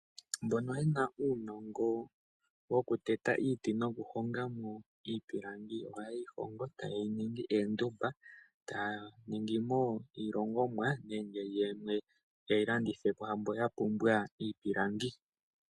Mbono yena uunongo wo kuteta iiti nokuhonga iipilangi oha yeyi hongo eta yeyi ningi oondumba. Taya longomo iilongomwa nenge yeyi landithepo kwaamboka yahala.